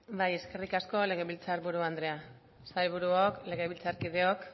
bai eskerrik asko legebiltzar buru andrea sailburuok legebiltzarkideok